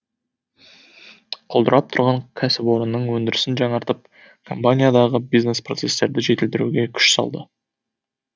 құлдырап тұрған кәсіпорынның өндірісін жаңартып компаниядағы бизнес процестерді жетілдіруге күш салды